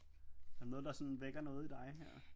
Er der noget der sådan vækker noget i dig her?